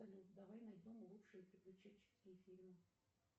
салют давай найдем лучшие приключенческие фильмы